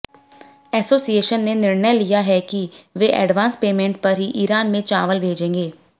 association ने निर्णय लिया है कि वे एडवांस पेमेंट पर ही ईरान में चावल भेजेंगे